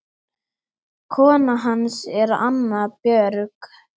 Kona hans er Anna Björg